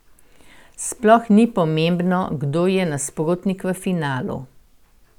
Sploh ni pomembno, kdo je nasprotnik v finalu.